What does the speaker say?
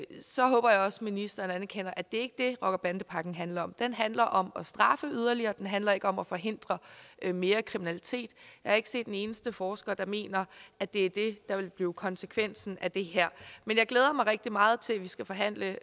så håber jeg også ministeren anerkender at det ikke rocker bande pakken handler om den handler om at straffe yderligere og den handler ikke om at forhindre mere kriminalitet jeg har ikke set en eneste forsker der mener at det er det der vil blive konsekvensen af det her men jeg glæder mig rigtig meget til at vi skal forhandle